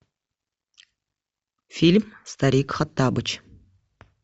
фильм старик хоттабыч